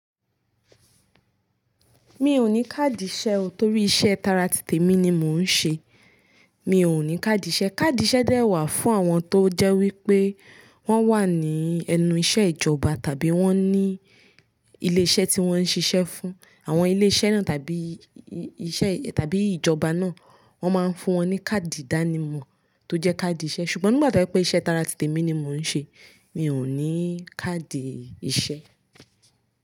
Mi ò ní káàdì iṣẹ o torí iṣẹ́ tara tìtè mi ni mò ń ṣe. Mi ò ní káàdì ìṣe. Káàdì iṣẹ dẹ wà fún àwọn tó jẹ́ wípé wọ́n wà ní ẹnu iṣẹ́ ìjọba tàbí wọ́n ní ilé iṣẹ́ tí wọ́n ń ṣiṣẹ́ fún. Àwọn ilé iṣẹ́ náà tàbí iṣẹ́ tàbí ìjọba náà wọ́n máa ń fún wọn ní káàdì ìdánimọ̀ tó jẹ́ káàdì ìṣe. Ṣùgbọ́n nígbà to jẹ pé iṣẹ́ tara tìtè mi ni mò ń ṣe, mi ò ní káàdì ìṣe.